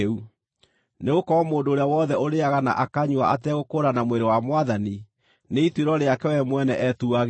Nĩgũkorwo mũndũ ũrĩa wothe ũrĩĩaga na akanyua ategũkũũrana mwĩrĩ wa Mwathani, nĩ ituĩro rĩake we mwene etuagĩra.